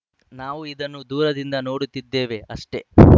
ನಾವು ಇದನ್ನು ದೂರದಿಂದ ನೋಡುತ್ತಿದ್ದೇವೆ ಅಷ್ಟೇ